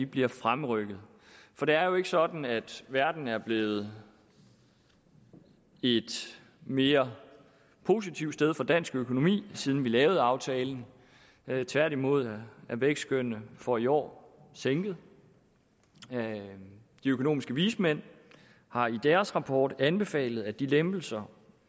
bliver fremrykket for det er jo ikke sådan at verden er blevet et mere positivt sted for dansk økonomi siden vi lavede aftalen tværtimod er vækstskønnet for i år sænket de økonomiske vismænd har i deres rapport anbefalet at de lempelser